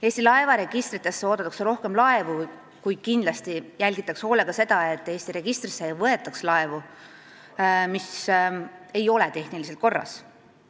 Eesti laevaregistritesse oodatakse rohkem laevu, kuid kindlasti jälgitakse hoolega seda, et sinna ei võetaks laevu, mis ei ole tehniliselt korras.